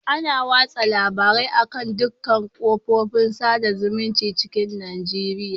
Ana watsa labarin a'kan dukan ƙafofin saɗa zumuncin cikin Najeriya